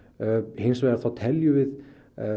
hins vegar teljum við